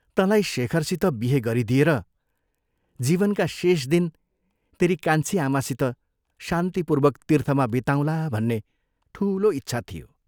तँलाई शेखरसित बिहे गरिदिएर जीवनका शेष दिन तेरी कान्छी आमासित शान्तिपूर्वक तीर्थमा बिताउँला भन्ने ठूलो इच्छा थियो।